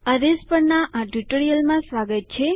અરેઝ પરના આ ટ્યુટોરીયલમાં તમારું સ્વાગત છે